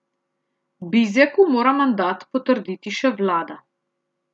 Bizjaku mora mandat potrditi še vlada.